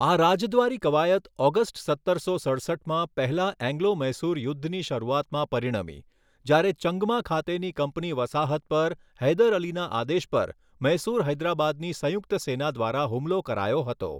આ રાજદ્વારી કવાયત ઑગસ્ટ સત્તરસો સડસઠમાં પહેલા એંગ્લો મૈસૂર યુદ્ધની શરૂઆતમાં પરિણમી જ્યારે ચંગમા ખાતેની કંપની વસાહત પર હૈદર અલીના આદેશ પર મૈસૂર હૈદરાબાદની સંયુક્ત સેના દ્વારા હુમલો કરાયો હતો.